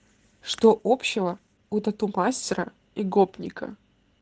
что общего у тату-мастера и гопника